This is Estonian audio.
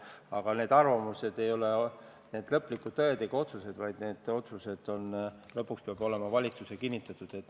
Aga need arvamused ei ole lõplikud tõed ega otsused, vaid need otsused peavad olema valitsuses kinnitatud.